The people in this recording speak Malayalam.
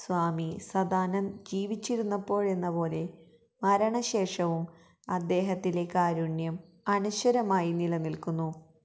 സ്വാമി സദാനന്ദ് ജീവിച്ചിരുന്നപ്പോഴെന്നപോലെ മരണശേഷവും അദ്ദേഹത്തിലെ കാരുണ്യം അനശ്വരമായി നിലനിൽക്കുന്നു